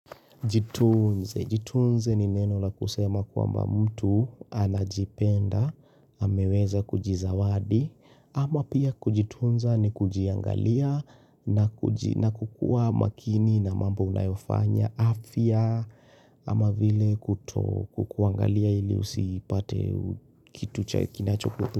Jitunze, jitunze ni neno la kusema kwa mba mtu anajipenda, ameweza kujizawadi ama pia kujitunza ni kujiangalia na kukuwa makini na mambo unayofanya afya ama vile kuto kukuangalia ili usipate kitu cha kinachoku.